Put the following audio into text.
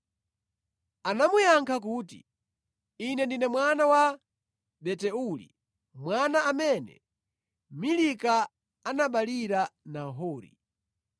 Anamuyankha kuti, “Ine ndine mwana wa Betueli, mwana amene Milika anaberekera Nahori.”